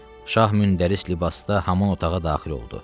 Şah müntəris libasda haman otağa daxil oldu.